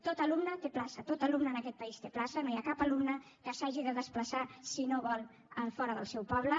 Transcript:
tot alumne té plaça tot alumne en aquest país té plaça no hi ha cap alumne que s’hagi de desplaçar si no ho vol fora del seu poble